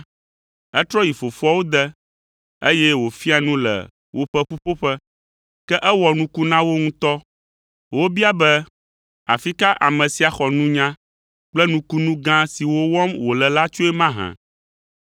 Etrɔ yi fofoawo de, eye wòfia nu le woƒe ƒuƒoƒe, ke ewɔ nuku na wo ŋutɔ. Wobia be, “Afi ka ame sia xɔ nunya kple nukunu gã siwo wɔm wòle la tsoe mahã?